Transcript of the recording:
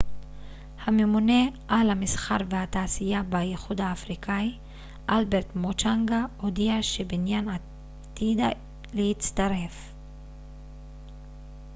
הממונה על המסחר והתעשייה באיחוד האפריקאי אלברט מוצ'נגה הודיע שבנין עתידה להצטרף